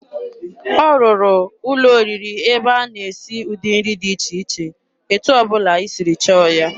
Ọ rụrụ ụlọ oriri ebe a na-esi ụdị nri dị iche iche, etu ọ bụla i siri chọọ ya.